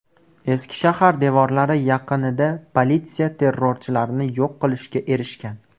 Eski shahar devorlari yaqinida politsiya terrorchilarni yo‘q qilishga erishgan.